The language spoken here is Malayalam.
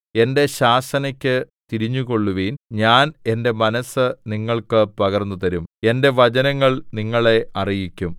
എന്റെ ശാസനയ്ക്ക് തിരിഞ്ഞുകൊള്ളുവിൻ ഞാൻ എന്റെ മനസ്സ് നിങ്ങൾക്ക് പകർന്നുതരും എന്റെ വചനങ്ങൾ നിങ്ങളെ അറിയിക്കും